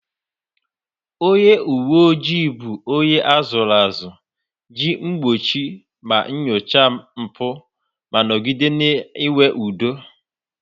Onye uwe ojii bụ onye a zụrụ azụ iji gbochie ma nyochaa mpụ ma nọgide na-enwe udo